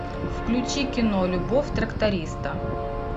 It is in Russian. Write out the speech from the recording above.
включи кино любовь тракториста